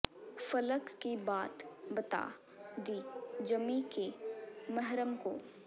ਫ਼ਲਕ ਕੀ ਬਾਤ ਬਤਾ ਦੀ ਜ਼ਮੀਂ ਕੇ ਮਹਰਮ ਕੋ